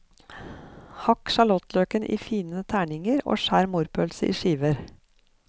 Hakk sjalottløken i fine terninger og skjær morrpølsen i skiver.